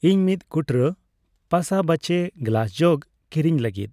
ᱤᱧ ᱢᱤᱛ ᱠᱩᱴᱨᱟᱹ ᱯᱟᱥᱟᱵᱟᱦᱪᱮ ᱜᱞᱟᱥ ᱡᱚᱜ ᱠᱤᱨᱤᱧ ᱞᱟᱹᱜᱤᱫ ᱾